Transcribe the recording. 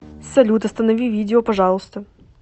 салют останови видео пожалуйста